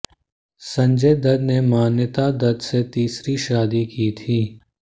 संजय दत्त ने मान्यता दत्त से तीसरी शादी की थी